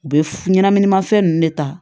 U bɛ f ɲɛnɛminimafɛn ninnu de ta